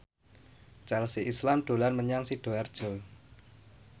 Chelsea Islan dolan menyang Sidoarjo